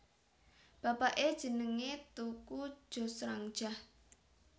Bapaké jenengé Teuku Joesransjah